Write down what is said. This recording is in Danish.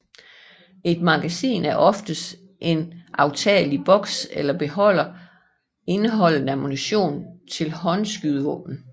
Et magasin er oftest en aftagelig boks eller beholder indeholdende ammunition til håndskydevåben